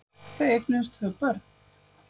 Þau eignuðust tvö börn.